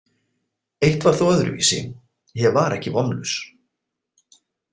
Eitt var þó öðruvísi: Ég var ekki vonlaus.